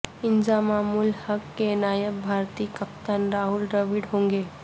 انضمام الحق کے نائب بھارتی کپتان راہول ڈراوڈ ہونگے